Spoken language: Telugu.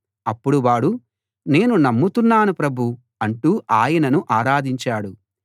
అప్పుడు వాడు నేను నమ్ముతున్నాను ప్రభూ అంటూ ఆయనను ఆరాధించాడు